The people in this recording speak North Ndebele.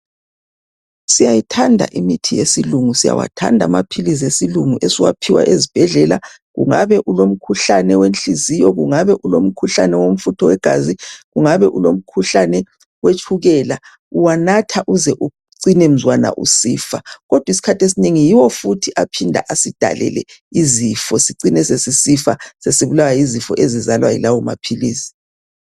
Siyayithanda imithi yesilungu. Siyawathanda maphilisi esilungu esiwaphiwa ezibhedlela kungabe ulomkhuhlane wenhliziyo kungabe ulomkhuhlane womfutho wegazi, kungabe ulomkhuhlane wetshukela uwanatha uze ucine mzwana usifa kodwi skhathi esinengi yiwo futhi aphinda asidalele izifo sicine sesisifa sesibulawa yizifo ezizalwa yilawo maphilisi.